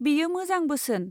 बेयो मोजां बोसोन।